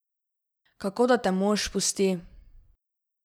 Kako da te mož pusti?